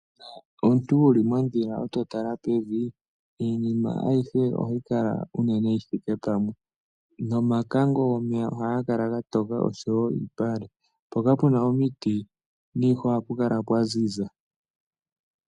Uuna omuntu wuli mondhila etotala pevi iinima ayihe ohayi kala unene yithike pamwe, nomakango gomeya ohaga kala gatoka oshowo iipale. Mpoka puna omiti niihwa ohapu kala pwaziza.